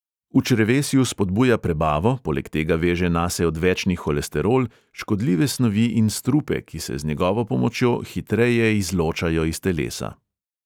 V črevesju spodbuja prebavo, poleg tega veže nase odvečni holesterol, škodljive snovi in strupe, ki se z njegovo pomočjo hitreje izločajo iz telesa.